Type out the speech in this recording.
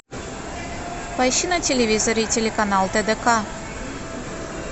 поищи на телевизоре телеканал тдк